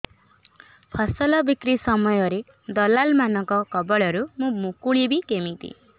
ଫସଲ ବିକ୍ରୀ ସମୟରେ ଦଲାଲ୍ ମାନଙ୍କ କବଳରୁ ମୁଁ ମୁକୁଳିଵି କେମିତି